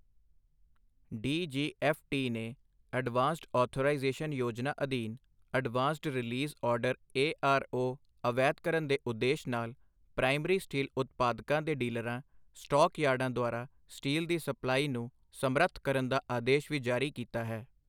D G F T ਨੇ advanced authorisation ਯੋਜਨਾ ਅਧੀਨ advanced release order A R O ਅਵੈਧਕਰਨ ਦੇ ਉਦੇਸ਼ ਨਾਲ ਪ੍ਰਾਇਮਰੀ ਸਟੀਲ ਉਤਪਾਦਕਾਂ ਦੇ ਡੀਲਰਾਂ ਸਟਾਕ ਯਾਰਡਾਂ ਦੁਆਰਾ ਸਟੀਲ ਦੀ ਸਪਲਾਈ ਨੂੰ ਸਮਰੱਥ ਕਰਨ ਦਾ ਆਦੇਸ਼ ਵੀ ਜਾਰੀ ਕੀਤਾ ਹੈ।